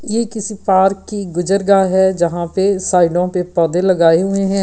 यह किसी पार्क की है यहां पे साइडो पे पौधे लगाए हुए हैं।